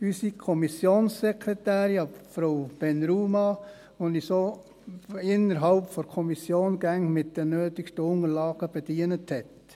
unsere Kommissionsekretärin Frau ben Rhouma, die uns innerhalb der Kommission immer mit den nötigen Unterlagen bedient hat.